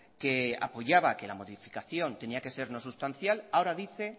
que la modificación tenía que ser no sustancial ahora dice